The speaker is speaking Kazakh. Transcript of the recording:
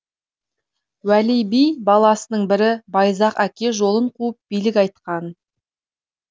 уәли би баласының бірі байзақ әке жолын қуып билік айтқан